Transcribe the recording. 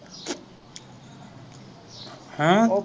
ਹਮ